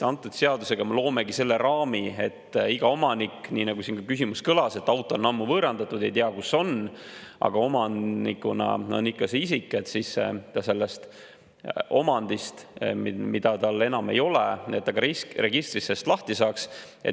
Antud seadusega me loomegi selle raami, et iga omanik – nii nagu siin küsimus kõlas, et auto on ammu võõrandatud, ei tea, kus see on, aga omanikuna on ikka see isik – sellest omandist, mida tal enam ei ole, ka registris lahti saaks.